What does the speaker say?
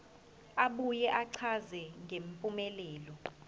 abuye achaze ngempumelelo